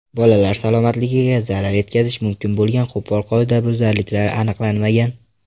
Bolalar salomatligiga zarar yetkazishi mumkin bo‘lgan qo‘pol qoidabuzarliklar aniqlanmagan.